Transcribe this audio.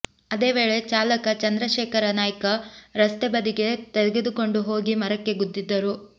ಅದೇ ವೇಳೆ ಚಾಲಕ ಚಂದ್ರಶೇಖರ ನಾಯ್ಕ ರಸ್ತೆ ಬದಿಗೆ ತೆಗೆದುಕೊಂಡು ಹೋಗಿ ಮರಕ್ಕೆ ಗುದ್ದಿದ್ದರು